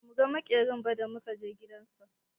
Ba mu ga maƙerin ba da muka je gidan sa.